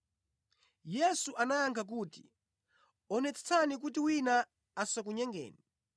Yesu anayankha kuti, “Onetsetsani kuti wina asakunyengeni.